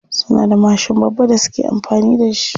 Suna da mashin babba da suke amfani da shi.